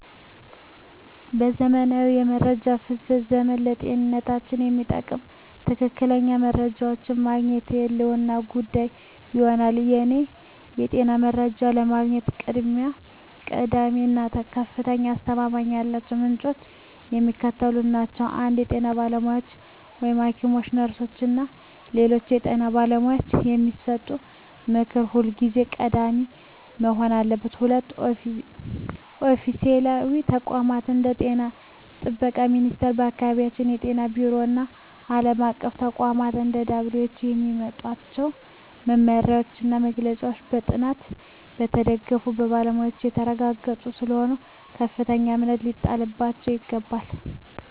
በዘመናዊው የመረጃ ፍሰት ዘመን፣ ለጤንነታችን የሚጠቅሙ ትክክለኛ መረጃዎችን ማግኘት የህልውና ጉዳይ ሆኗል። ለእኔ የጤና መረጃ ለማግኘት ቀዳሚ እና ከፍተኛ አስተማማኝነት ያላቸው ምንጮች የሚከተሉት ናቸው 1) የጤና ባለሙያዎች: ሐኪሞች፣ ነርሶች እና ሌሎች የጤና ባለሙያዎች የሚሰጡት ምክር ሁልጊዜም ቀዳሚ መሆን አለበት። 2)ኦፊሴላዊ ተቋማት: እንደ የጤና ጥበቃ ሚኒስቴር፣ የአካባቢ ጤና ቢሮዎች እና ዓለም አቀፍ ተቋማት (እንደ WHO) የሚያወጧቸው መመሪያዎችና መግለጫዎች በጥናት የተደገፉና በባለሙያዎች የተረጋገጡ ስለሆኑ ከፍተኛ እምነት ሊጣልባቸው ይገባል።